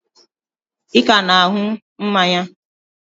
Ị ka na-an̄ụ mmanya?